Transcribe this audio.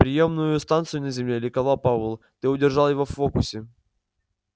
приёмную станцию на земле ликовал пауэлл ты удержал его в фокусе